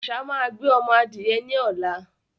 Àṣá máa gbé omo adìye ní ọ̀la